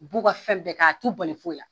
U b'u ka fɛn bɛɛ kɛ, a t'u bali foyi la.